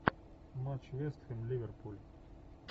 матч вест хэм ливерпуль